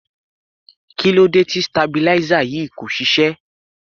Kí ló dé tí stabilizer yìí kò ṣiṣẹ́?